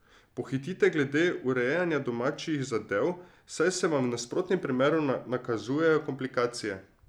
Pohitite glede urejanja domačih zadev, saj se vam v nasprotnem primeru nakazujejo komplikacije.